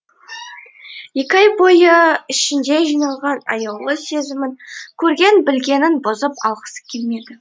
екі ай бойы ішінде жиналған аяулы сезімін көрген білгенін бұзып алғысы келмеді